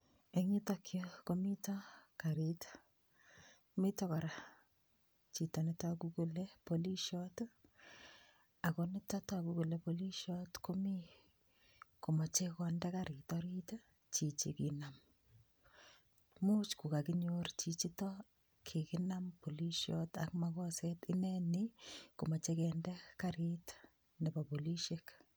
Eng' yutokyu komito karit mito kora chito netoku kole polishot ako nito toku kole polishot komi komochei konde karit orit chichi konam muuch kokakinyor chichito kikinam polishot ak makoset ineni komochei kende karit nebo polishek